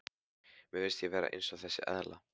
Mér finnst ég vera eins og þessi eðla.